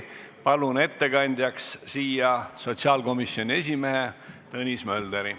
Palun ettekandjaks sotsiaalkomisjoni esimehe Tõnis Mölderi.